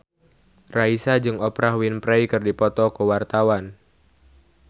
Raisa jeung Oprah Winfrey keur dipoto ku wartawan